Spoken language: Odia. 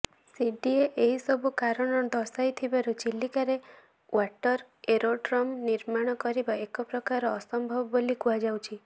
ସିଡିଏ ଏହି ସବୁ କାରଣ ଦର୍ଶାଇଥିବାରୁ ଚିଲିକାରେ ଓ୍ବାଟର ଏରୋଡ୍ରମ ନିର୍ମାଣ କରିବା ଏକପ୍ରକାରର ଅସମ୍ଭବ ବୋଲି କୁହାଯାଉଛି